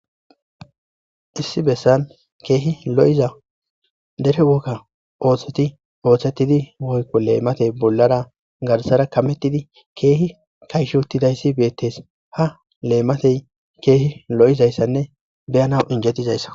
Hssi bessan keehi lo7iza dere wokka ooththeti ooththetidi woykko leematey bollara garsara kamettidi keehi kayshutidayssi beettes ha leematey keehi lo7izayssanne beyanaw injetizayssa